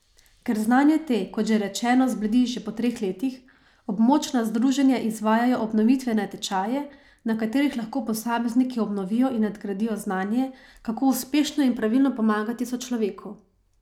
Ker znanje te, kot že rečeno, zbledi že po treh letih, območna združenja izvajajo obnovitvene tečaje, na katerih lahko posamezniki obnovijo in nadgradijo znanje, kako uspešno in pravilno pomagati sočloveku.